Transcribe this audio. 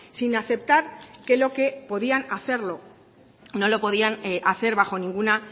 sin aceptar que lo que podían hacerlo no lo podían hacer bajo ninguna